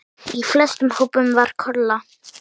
Í flestum hópunum var Kolla.